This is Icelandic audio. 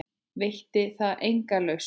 Veitti það enga lausn?